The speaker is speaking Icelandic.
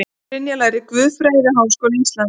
Brynja lærði guðfræði við Háskóla Íslands